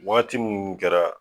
Waati minnu kɛra